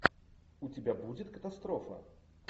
у тебя будет катастрофа